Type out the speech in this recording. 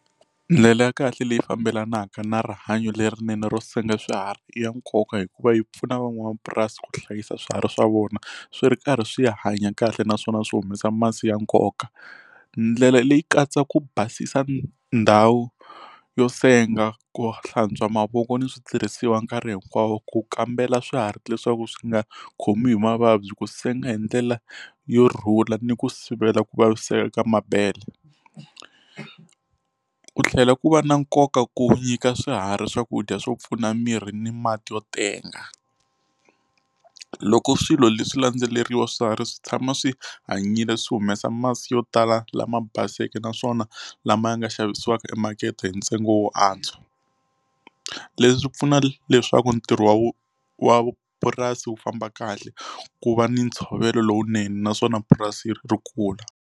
Ndlela ya kahle leyi fambelanaka na rihanyo lerinene ro senga swiharhi i ya nkoka hikuva yi pfuna van'wamapurasi ku hlayisa swiharhi swa vona swi ri karhi swi ya hanya kahle naswona swi humesa masi ya nkoka ndlela leyi katsa ku basisa ndhawu yo senga ku hlantswa mavoko ni switirhisiwa nkarhi hinkwawo ku kambela swiharhi leswaku swi nga khomiwi hi mavabyi ku senga hi ndlela yo rhula ni ku sivela ku vaviseka ka mabhele ku tlhela ku va na nkoka ku nyika swiharhi swakudya swo pfuna miri ni mati yo tenga loko swilo leswi landzeleriwa swiharhi swi tshama swi hanyile swi humesa masi yo tala lama baseke ka naswona lama ya nga xavisiwaka emakete hi ntsengo wo antswa leswi pfuna leswaku ntirho wa wa purasi wu famba kahle ku va ni ntshovelo lowunene naswona purasi ri kula.